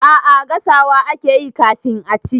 A'a gasawa akeyi kafin a ci.